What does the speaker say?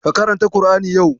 Ka karanta ƙur'ani yau?